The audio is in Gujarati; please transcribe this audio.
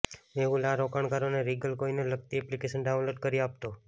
મેહુલ આ રોકાણકારોને રીગલ કોઇનને લગતી એપ્લિકેશન ડાઉનલોડ કરી આપતો